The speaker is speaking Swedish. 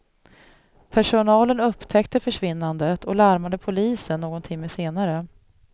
Personalen upptäckte försvinnandet och larmade polisen någon timme senare.